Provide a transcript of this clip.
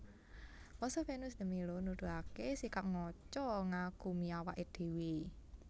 Pose Venus de Milo nuduhaké sikap ngaca ngagumi awaké dhéwé